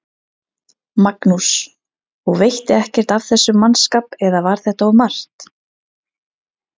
Magnús: Og veitti ekkert af þessum mannskap eða var þetta of margt?